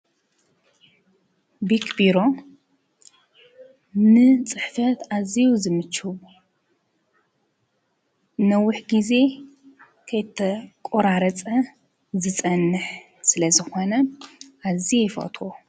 ቢክ ቢሮ ንፅሕፈት አዝዩ ዝምቹ ፤ ንነዊሕ ግዜ ከይተቆራረፀ ዝፀንሕ ስለ ዝኾነ አዝየ ይፈትዎ፡፡